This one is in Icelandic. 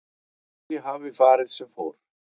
Því hafi farið sem fór